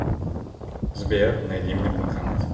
сбер найди мне банкомат